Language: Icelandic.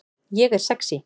Ég er sexý